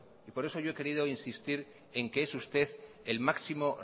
por eso yo he querido insistir en que es usted el máximo